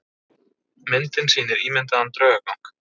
Myndin sýnir ímyndaðan draugagang.